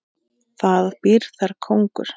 Það býr þar kóngur.